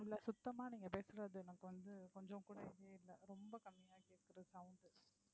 இல்ல சுத்தமா நீங்க பேசுறது எனக்கு வந்து கொஞ்சம் கூட இதே இல்லை ரொம்ப கம்மியா கேக்குது sound